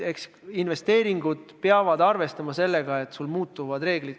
Eks investeerijad peavad sellega arvestama, et muutuvad ka reeglid.